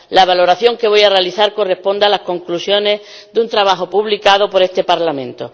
La valoración que voy a realizar corresponde a las conclusiones de un trabajo publicado por este Parlamento.